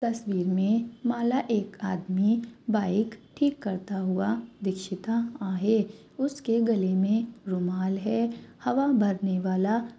तस्वीर में माला एक आदमी बाइक ठीक करता हुआ दीक्षिता आहे. उसके गले मे रुमाल है हवा भरनेवाला --